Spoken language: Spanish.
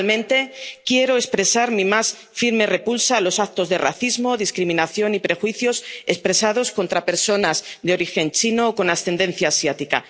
ejemplo. Finalmente, quiero expresar mi más firme repulsa a los actos de racismo, discriminación y prejuicios contra personas de origen chino o con ascendencia